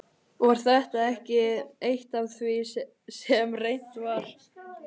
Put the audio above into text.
Var þetta ekki eitt af því sem reynt var?